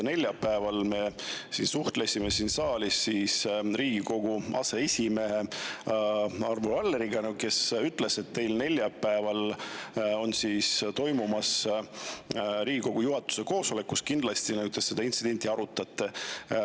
Neljapäeval me suhtlesime siin saalis Riigikogu aseesimehe Arvo Alleriga, kes ütles, et neljapäeval toimub teil Riigikogu juhatuse koosolek, kus te kindlasti seda intsidenti arutate.